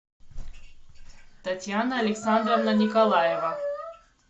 татьяна александровна николаева